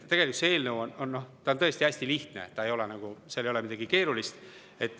Tegelikult see eelnõu on tõesti hästi lihtne, seal ei ole nagu midagi keerulist.